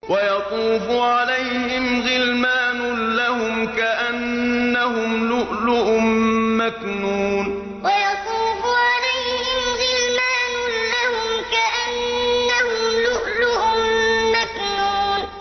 ۞ وَيَطُوفُ عَلَيْهِمْ غِلْمَانٌ لَّهُمْ كَأَنَّهُمْ لُؤْلُؤٌ مَّكْنُونٌ ۞ وَيَطُوفُ عَلَيْهِمْ غِلْمَانٌ لَّهُمْ كَأَنَّهُمْ لُؤْلُؤٌ مَّكْنُونٌ